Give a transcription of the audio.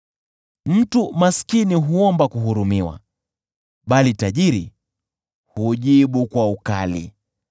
Mtu maskini huomba kuhurumiwa bali tajiri hujibu kwa ukali.